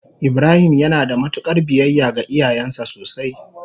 ibrahim yanada mutukar biyayya ga iyayansa sosai.